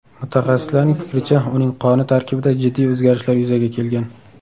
Mutaxassislarning fikricha, uning qoni tarkibida jiddiy o‘zgarishlar yuzaga kelgan.